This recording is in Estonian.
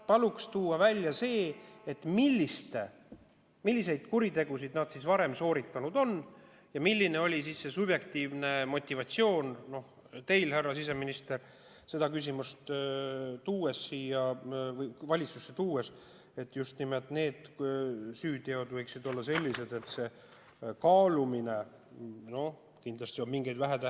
Palun tuua välja see, milliseid kuritegusid nad varem sooritanud on ja milline oli see subjektiivne motivatsioon teil, härra siseminister, seda küsimust valitsusse tuues, et just nimelt need süüteod võiksid olla sellised, et see kaalumine.